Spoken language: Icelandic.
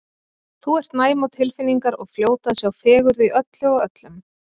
Þú ert næm á tilfinningar og fljót að sjá fegurð í öllu og öllum.